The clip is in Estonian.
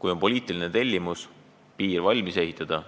Kui on poliitiline tellimus piir valmis ehitada,